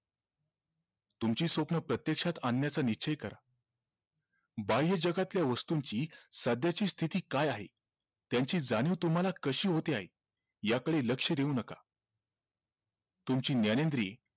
तुमची स्वप्न प्रत्यक्षात आणण्याचा निश्चय करा बाह्य जगातल्या वस्तूंची सध्याची स्थिती काय आहे त्यांची जाणीव तुम्हाला कशी होते आहे याकडे लक्ष देऊ नका तुमची ज्ञानेंद्रिये